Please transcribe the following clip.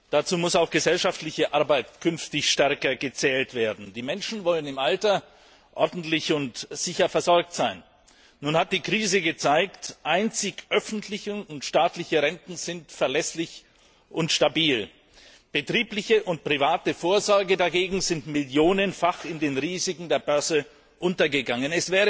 Dazu muss künftig auch gesellschaftliche Arbeit stärker gezählt werden. Die Menschen wollen im Alter ordentlich und sicher versorgt sein. Nun hat die Krise gezeigt Einzig öffentliche und staatliche Renten sind verlässlich und stabil. Betriebliche und private Vorsorge dagegen sind millionenfach in den Risiken der Börse untergegangen.